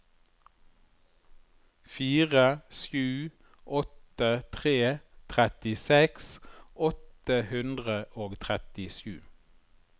fire sju åtte tre trettiseks åtte hundre og trettisju